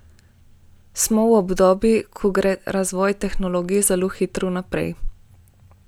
Smo v obdobju, ko gre razvoj tehnologij zelo hitro naprej.